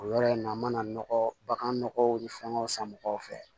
O yɔrɔ in na n mana nɔgɔ baganɔgɔw ni fɛngɛw san mɔgɔw fɛ